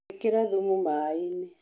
ĩkĩra thumu maĩi-nĩ.